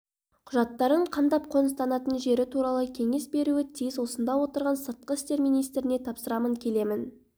құжаттарын қамдап қоныстанатын жері туралы кеңес беруі тиіс осында отырған сыртқы істер министріне тапсырамын келемін